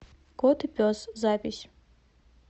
кот и пес запись